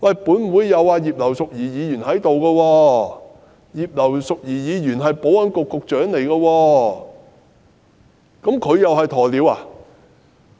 本會的葉劉淑儀議員是前保安局局長，難道她同樣是"鴕鳥"嗎？